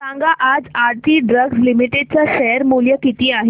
सांगा आज Aarti drugs limited चे शेअर मूल्य किती आहे